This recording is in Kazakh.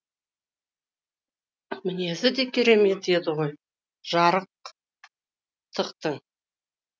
мінезі де керемет еді ғой жарықтықтың